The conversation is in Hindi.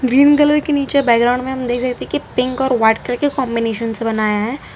ग्रीन कलर के निचे बैकग्राउंड में हम देख रहे थे कि पिंक और व्हाइट कलर के कॉम्बिनेशन से बनाया हैं।